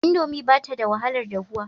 Indomi ba ta da wahalar dahuwa.